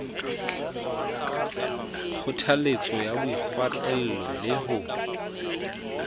kgothaletso ya boikgwantlello le ho